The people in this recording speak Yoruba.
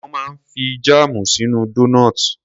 Wón máa ń fi jáàmù sínú doughnuts.